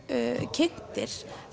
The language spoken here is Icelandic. kynntir